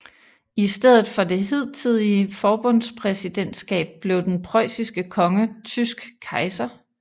I stedet for det hidtidige forbundspræsidentskab blev den preussiske konge tysk kejser